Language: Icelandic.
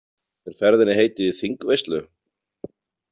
Er ferðinni heitið í þingveislu?